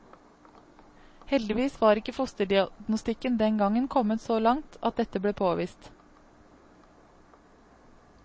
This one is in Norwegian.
Heldigvis var ikke fosterdiagnostikken den gangen kommet så langt at dette ble påvist.